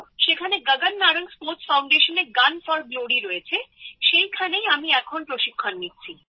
সেখানে গগন নারাঙ্গ স্পোর্টস ফাউন্ডেশনে gun for glory রয়েছে সেখানেই আমি এখন প্রশিক্ষণ নিচ্ছি